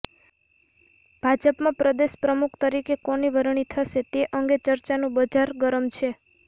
ભાજપમાં પ્રદેશ પ્રમુખ તરીકે કોની વરણી થશે તે અંગે ચર્ચાનું બજાર ગરમ છે